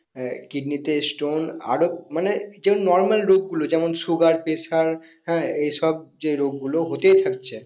হ্যাঁ কিডনিতে stone আরো মানে সেই normal রোগ গুলো যেমন sugar pressure হ্যাঁ এই সব যে রোগ গুলো হতেই থাকছে